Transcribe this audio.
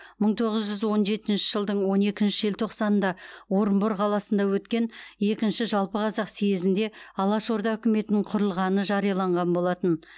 мың тоғыз жүз он жетінші жылдың он екінші желтоқсанында орынбор қаласында өткен екінші жалпықазақ съезінде алаш орда үкіметінің құрылғаны жарияланған болатын